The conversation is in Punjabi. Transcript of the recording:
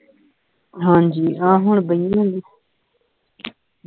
ਹਾਂ ਜੀ ਆਹ ਹੁਣ ਬਈਆ ਆਂ